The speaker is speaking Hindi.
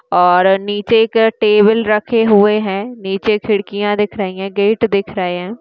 और नीचे एक टेबल रखे हुए है। नीचे खिड़कियाँ दिख रही है। गेट दिख रहे है।